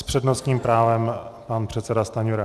S přednostním právem pan předseda Stanjura.